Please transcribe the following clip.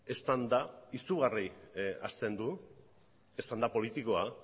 eztanda izugarri hazten du eztanda politikoa